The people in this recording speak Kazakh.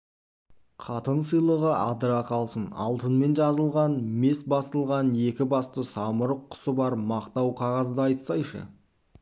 қатын сыйлығы адыра қалсын алтынмен жазылған мес басылған екі басты самұрық құсы бар мақтау қағазды айтсайшы